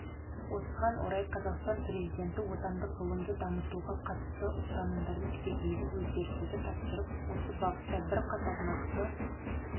осыған орай қазақстан президенті отандық ғылымды дамытуға қатысты ұстанымдарды түбегейлі өзгертуді тапсырып осы бағытта бірқатар нақты